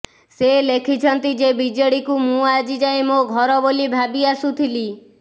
ସେ ଲେଖିଛନ୍ତି ଯେ ବିଜେଡିକୁ ମୁଁ ଆଜି ଯାଏଁ ମୋ ଘର ବୋଲି ଭାବି ଆସୁଥିଲି